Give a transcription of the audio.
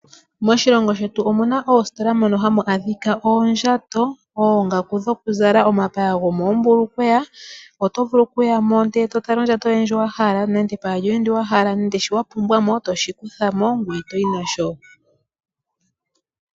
Moshilongo shetu omuna oositola mono hamu adhika, oondjato, oongaku dho kuzala , nomapaya gomoombulukweya, oto vulu oku yamo ndele to tala ondjato yoye ndjoka wa hala, nenge epaya lyoye ndyoka wa hala, nenge shono wa pumbwa, etoshi kuthamo, ngoye toyi nasho.